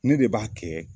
Ne de b'a kɛ